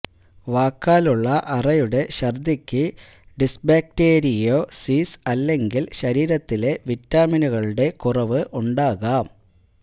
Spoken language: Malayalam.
വാക്കാലുള്ള അറയുടെ ഛർദ്ദിക്ക് ഡിസ്ബേക്ടീരിയോസിസ് അല്ലെങ്കിൽ ശരീരത്തിലെ വിറ്റാമിനുകളുടെ കുറവ് ഉണ്ടാകാം